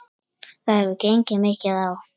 Það hefur gengið mikið á!